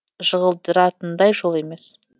жығылдыратындай жол емес